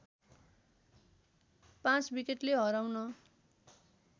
५ विकेटले हराउन